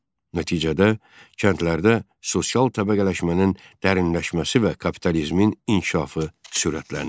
Nəticədə kəndlərdə sosial təbəqələşmənin dərinləşməsi və kapitalizmin inkişafı sürətləndi.